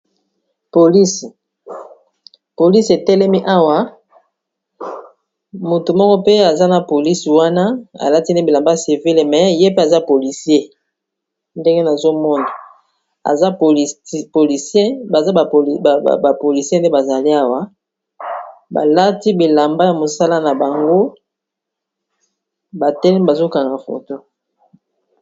polisi, polisi etelemi awa motu moko pe aza na polisi wana alati bilamba civile me ye pe aza polisier ndenge nazomona aza polisier baza bapolisier nde bazali awa balati bilamba ya mosala na bango batelemi bazokanga foto.